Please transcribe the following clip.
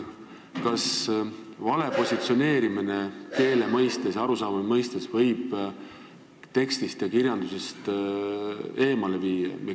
Kas vale positsioneerimine keele mõistes ja arusaama mõistes võib tekstist ja kirjandusest eemale viia?